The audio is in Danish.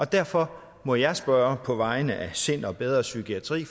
derfor må jeg spørge på vegne af sind og bedre psykiatri